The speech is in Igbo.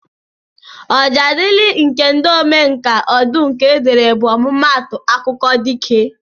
Ọjaadịlị nke ndị omenka Ọdụnke dere bụ ọmụmaatụ akụkọ dike